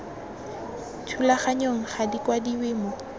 thulaganyong ga di kwadiwe mo